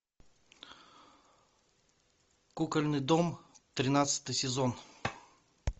кукольный дом тринадцатый сезон